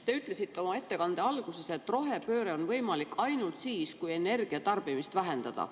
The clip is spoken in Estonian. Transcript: Te ütlesite oma ettekande alguses, et rohepööre on võimalik ainult siis, kui energiatarbimist vähendada.